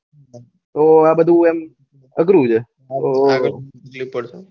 ઓં આ બધું એમ અઘરું છે